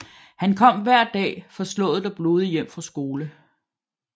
Han kom hver dag forslået og blodig hjem fra skole